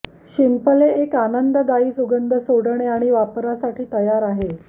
शिंपले एक आनंददायी सुगंध सोडणे आणि वापरासाठी तयार आहे